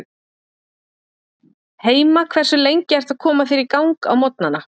Heima Hversu lengi ertu að koma þér í gang á morgnanna?